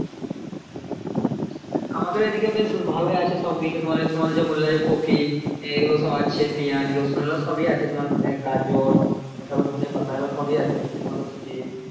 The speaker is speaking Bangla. আমাদের এইদিকে বেশ ভালোই আছে সবকিছু তোমার ওই বললা যে কফি এগুলো সব আছে পেঁয়াজ রসুন এগুলো সবই আছে তোমার গাজর ধোনে পাতা এগুলো সব ই আছে মটরশুটি